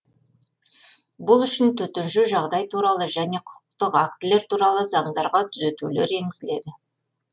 бұл үшін төтенше жағдай туралы және құқықтық актілер туралы заңдарға түзетулер енгізіледі